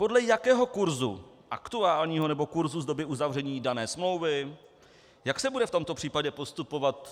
Podle jakého kurzu aktuálního nebo kurzu z doby uzavření dané smlouvy, jak se bude v tomto případě postupovat.